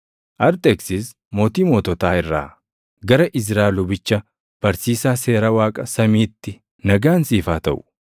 Arxeksis mootii moototaa irraa; Gara Izraa lubicha, barsiisaa Seera Waaqa samiitti: Nagaan siif haa taʼu.